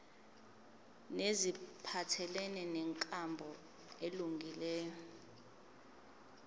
neziphathelene nenkambo elungileyo